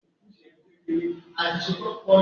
O lè rí àìpẹ onídùúró tàbí àìpẹ àjà ní yàrá ìgbàlejò